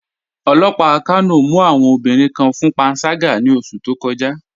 Ọlọ́pà Kano mù awọn obìnriǹ kàn fún pànságà ní ọṣù tó kọ̀já